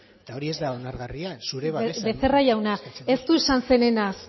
eta hori ez da onargarria zure babesa becerra jauna ez du esan zerenaz